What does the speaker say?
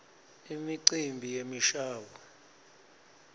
imicimbi yemishabuo